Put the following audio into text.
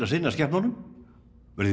að sinna skepnunum verðum